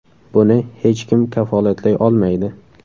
Buni hech kim kafolatlay olmaydi.